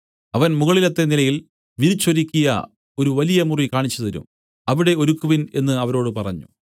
അവൻ മുകളിലത്തെ നിലയിൽ വിരിച്ചൊരുക്കിയ ഒരു വലിയ മുറി കാണിച്ചുതരും അവിടെ ഒരുക്കുവിൻ എന്നു അവരോട് പറഞ്ഞു